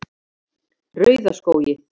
Rauðaskógi